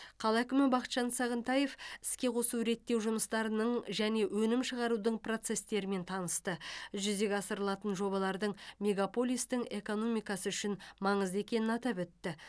қала әкімі бақытжан сағынтаев іске қосу реттеу жұмыстарының және өнім шығарудың процесстерімен танысты жүзеге асырылатын жобалардың мегаполистің экономикасы үшін маңызды екенін атап өтті